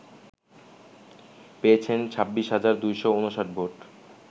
পেয়েছেন ২৬ হাজার ২৫৯ ভোট